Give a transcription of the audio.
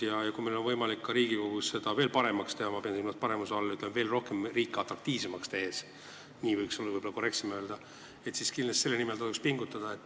Ja kui meil on võimalik seda Riigikogus paremaks teha – ma pean silmas riigi veel atraktiivsemaks tegemist, nii on võib-olla korrektsem öelda –, siis tuleks selle nimel kindlasti pingutada.